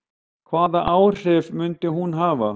Hvaða áhrif myndi hún hafa?